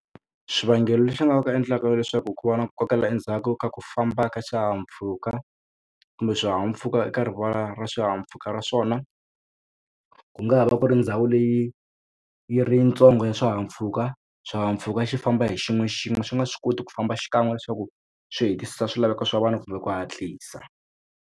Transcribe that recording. Xivangelo lexi nga endlaka leswaku ku va na kokela endzhaku ka ku famba ka swihahampfhuka kumbe swihahampfhuka eka rivala ra swihahampfhuka ra swona ku nga va ku ri ndhawu leyi yi ri yitsongo ya swihahampfhuka swihahampfhuka xi famba hi xin'we xin'we swi nga swi koti ku famba xikan'we leswaku swi hetisisa swilaveko swa vanhu kumbe ku hatlisa.